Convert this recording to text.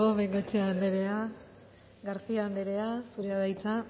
bengoechea andrea garcía anderea zurea da hitza